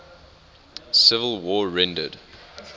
civil war rendered